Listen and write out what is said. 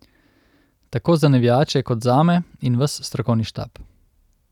Tako za navijače kot zame in ves strokovni štab.